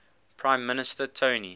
prime minister tony